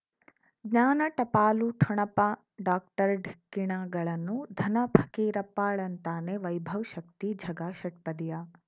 ಜ್ಞಾನ ಟಪಾಲು ಠೊಣಪ ಡಾಕ್ಟರ್ ಢಿಕ್ಕಿ ಣಗಳನು ಧನ ಫಕೀರಪ್ಪ ಳಂತಾನೆ ವೈಭವ್ ಶಕ್ತಿ ಝಗಾ ಷಟ್ಪದಿಯ